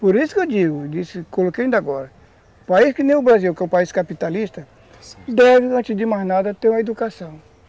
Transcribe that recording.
Por isso que eu digo, eu disse, coloquei ainda agora, um país que nem o Brasil, que é um país capitalista, deve, antes de mais nada, ter uma educação.